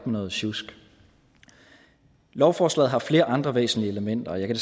noget sjusk lovforslaget har flere andre væsentlige elementer jeg kan